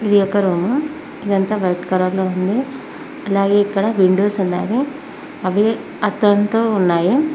ఇది ఒక రూము ఇదంతా వైట్ కలర్ లో ఉంది అలాగే ఇక్కడ విండోస్ ఉన్నాయి అవి అద్దంతో ఉన్నాయి.